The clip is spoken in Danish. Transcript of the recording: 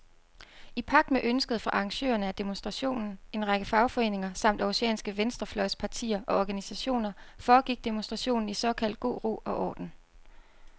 I pagt med ønsket fra arrangørerne af demonstrationen, en række fagforeninger samt århusianske venstrefløjspartier og organisationer, foregik demonstrationen i såkaldt god ro og orden.